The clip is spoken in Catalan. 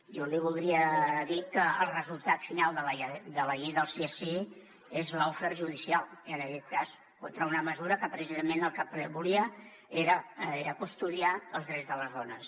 jo li voldria dir que el resultat final de la llei del sí és sí és lawfare judicial i en aquest cas contra una mesura que precisament el que volia era custodiar els drets de les dones